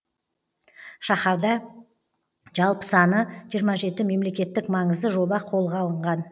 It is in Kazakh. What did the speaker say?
шаһарда жалпы саны жиырма жеті мемлекеттік маңызды жоба қолға алынған